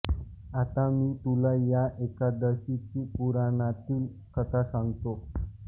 आता मी तुला या एकादशीची पुराणातील कथा सांगतो